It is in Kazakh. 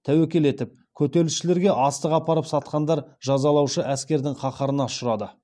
тәуекел етіп көтерілісшілерге астық апарып сатқандар жазалаушы әскердің қаһарына ұшырады